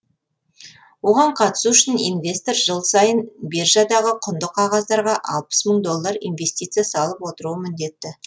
оған қатысу үшін инвестор жыл сайын биржадағы құнды қағаздарға алпыс мың доллар инвестиция салып отыруы міндет